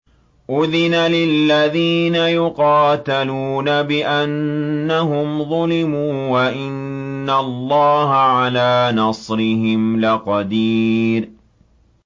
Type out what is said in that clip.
أُذِنَ لِلَّذِينَ يُقَاتَلُونَ بِأَنَّهُمْ ظُلِمُوا ۚ وَإِنَّ اللَّهَ عَلَىٰ نَصْرِهِمْ لَقَدِيرٌ